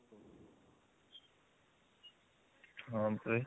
ହଁ